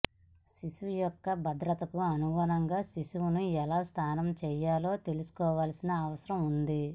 శిశువు యొక్క భద్రతకు అనుగుణంగా శిశువును ఎలా స్నానం చేయాలో తెలుసుకోవలసిన అవసరం ఉంది